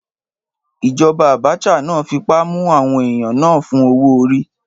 Ìjọba Abacha náà fipá mú àwọn èèyàn náà fún owó-orí.